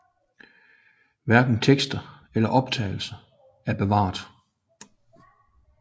Hverken tekster eller optagelser er bevaret